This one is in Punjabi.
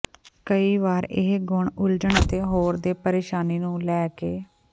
ਕਈ ਵਾਰ ਇਹ ਗੁਣ ਉਲਝਣ ਅਤੇ ਹੋਰ ਦੇ ਪਰੇਸ਼ਾਨੀ ਨੂੰ ਲੈ ਕੇ